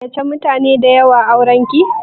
Kin gayyace mutane da yawa auranki?